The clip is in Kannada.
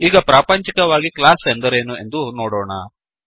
ಈಗ ಪ್ರಾಪಂಚಿಕವಾಗಿ ಕ್ಲಾಸ್ ಎಂದರೇನು ಎಂದು ನೋಡೋಣ